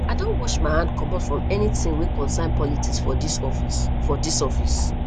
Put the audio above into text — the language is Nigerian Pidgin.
i don wash my hand comot from anytin wey concern politics for dis office for dis office